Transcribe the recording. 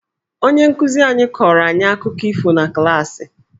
Onye nkụzi anyị kọrọ anyị akụkọ ifo na klaasị..